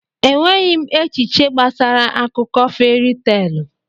Enweghị m echiche gbasara akụkọ feri teelụ.